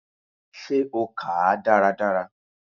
Ṣe o kàá dáradára?